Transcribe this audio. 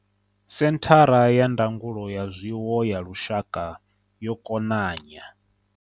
Senthara ya Ndangulo ya Zwiwo ya Lushaka yo konanya.